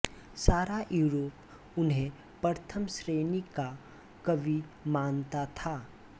सारा यूरोप उन्हें प्रथम श्रेणी का कवि मानता था